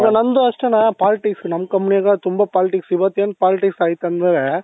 ನಮ್ದು ಅಷ್ಟೆಣ್ಣ politics ನಮ್ company ಗ ತುಂಬಾ politics ಇವತ್ತು ಏನು politics ಆಯ್ತಂದ್ರೆ